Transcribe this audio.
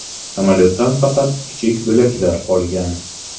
Samolyotdan faqat kichik bo‘laklar qolgan.